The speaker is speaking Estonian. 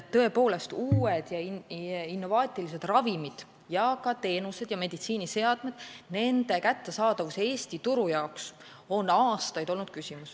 Tõepoolest, uute ja innovaatiliste ravimite ning ka teenuste ja meditsiiniseadmete kättesaadavus Eesti turul on aastaid olnud küsimus.